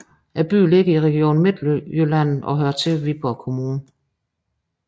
Byen ligger i Region Midtjylland og hører til Viborg Kommune